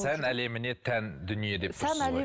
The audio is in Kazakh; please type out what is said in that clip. сән әлеміне тән дүние деп тұрсыз ғой